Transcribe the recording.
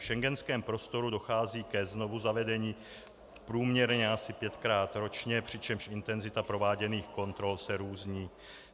V schengenském prostoru dochází ke znovuzavedení průměrně asi pětkrát ročně, přičemž intenzita prováděných kontrol se různí.